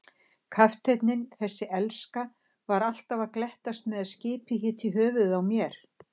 Kafteinninn, þessi elska, var alltaf að glettast með að skipið héti í höfuðið á mér.